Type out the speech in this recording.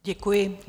Děkuji.